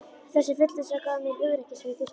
Þessi fullvissa gaf mér hugrekkið sem ég þurfti.